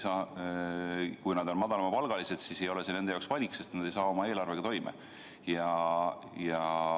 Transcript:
Kui nad on madalapalgalised, siis ei ole see nende jaoks valik, sest nad ei tule oma eelarvega toime.